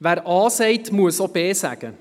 Wer A sagt, muss auch B sagen.